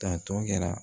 Tantɔ kɛra